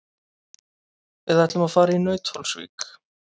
Við ætlum að fara í Nauthólsvík.